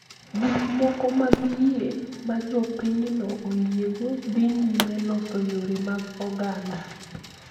Gik moko mag yie ma jopinyno oyiego dhi nyime loso yore mag oganda.